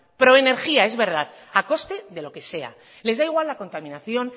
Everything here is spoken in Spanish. pro energía es verdad a coste de lo que sea les da igual la contaminación